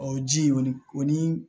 Ɔ ji kɔni o ni